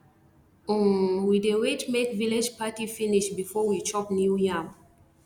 um we dey wait make village party finish before we chop new yam